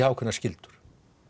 ákveðnar skyldur